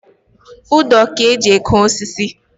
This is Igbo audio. Ụdọ ka-eji eke osisi.